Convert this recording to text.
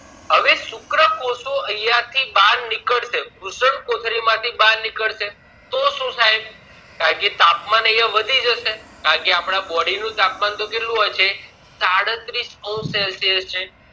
હવે શુક્રકોષો અહિયાં થી બાર નીકળશે વૃષ્ણકોથળી માંથી બાર નીકળશે તો શું થાય કારણે કે તાપમાન વધી જશે કારણે કે આપણા body નું તાપમાન તો કેટલું હોય છે સાડત્રીશ celsius છે